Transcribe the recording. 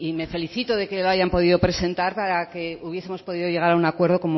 le felicito de que lo hayan podido presentar para que hubiesemos podido llegar a un acuerdo